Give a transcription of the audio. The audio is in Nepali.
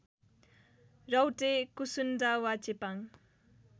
राउटे कुसुन्डा वा चेपाङ